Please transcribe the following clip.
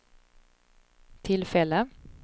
tillfälle